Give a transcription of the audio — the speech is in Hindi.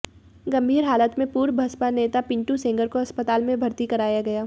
गंभीर हालत में पूर्व बसपा नेता पिंटू सेंगर को अस्पताल में भर्ती कराया गया